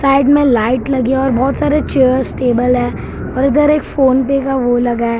Side में light लगी और बहोत सारे चेयर्स टेबल है और इधर एक फोनपे का वो लगा है।